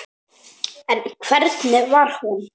En hvernig var hún?